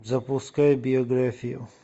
запускай биографию